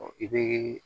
i bɛ